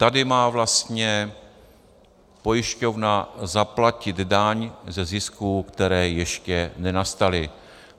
Tady má vlastně pojišťovna zaplatit daň ze zisků, které ještě nenastaly.